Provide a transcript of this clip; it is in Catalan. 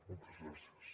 moltes gràcies